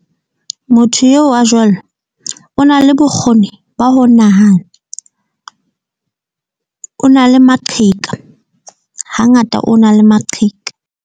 Motho eo a jwalo o na le bokgoni ba ho nahana. O na le maqheka, hangata o na le maqheka.